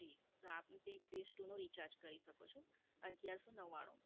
જી, આપ પછી Bress two નું Recharge કરી શકો છો અગિયારસો નવ્વાણું